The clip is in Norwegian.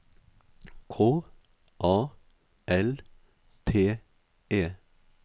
K A L T E